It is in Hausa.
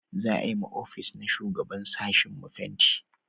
za a yi ma ofis na shugaban sashin mu fenti